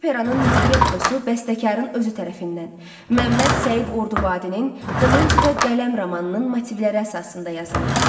Operanın librettosu bəstəkarın özü tərəfindən Məmməd Səid Ordubadinin Qılınc və Qələm romanının motivləri əsasında yazılıb.